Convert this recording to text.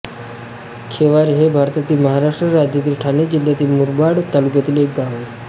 खेवारे हे भारतातील महाराष्ट्र राज्यातील ठाणे जिल्ह्यातील मुरबाड तालुक्यातील एक गाव आहे